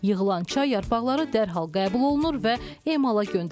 Yığılan çay yarpaqları dərhal qəbul olunur və emala göndərilir.